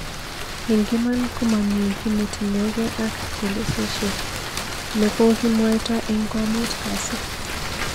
Eng iman komamii ginetinyegei ak chelesosyek ne kogimwoito eng komut kasi